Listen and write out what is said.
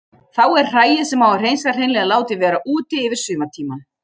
Þá er hræið sem á að hreinsa hreinlega látið vera úti yfir sumartímann.